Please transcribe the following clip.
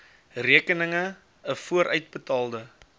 rekeninge n vooruitbetaalde